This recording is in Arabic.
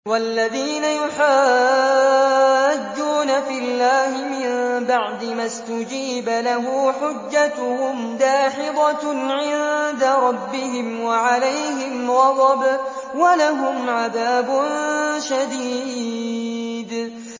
وَالَّذِينَ يُحَاجُّونَ فِي اللَّهِ مِن بَعْدِ مَا اسْتُجِيبَ لَهُ حُجَّتُهُمْ دَاحِضَةٌ عِندَ رَبِّهِمْ وَعَلَيْهِمْ غَضَبٌ وَلَهُمْ عَذَابٌ شَدِيدٌ